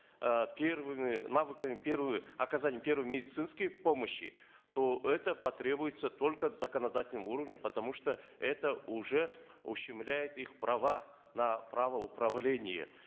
э первыми навыками первый оказания первой медицинской помощи то это потребуется только в законодательном уровне потому что это уже ущемляет их права на право управления